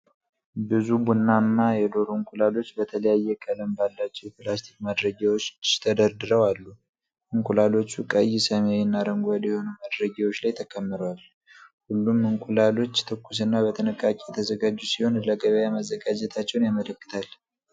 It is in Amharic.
ብዙ ቡናማ የዶሮ እንቁላሎች በተለያየ ቀለም ባላቸው የፕላስቲክ ማድረጊያዎች ተደርድረው አሉ። እንቁላሎቹ ቀይ፣ ሰማያዊ እና አረንጓዴ የሆኑ ማድረጊያዎች ላይ ተከምረዋል። ሁሉም እንቁላሎች ትኩስና በጥንቃቄ የተዘጋጁ ሲሆኑ፣ ለገበያ መዘጋጀታቸውን ያመለክታል።